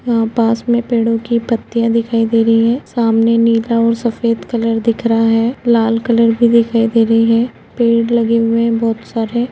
वहाँ पास मे पेड़ों की पत्तियाँ दिखाई दे रही हैंसामने नीला और सफेद कलर दिख रहा हैलाल कलर भी दिखाई दे रही हैपेड़ लगे हुए हैं बहोत सारे।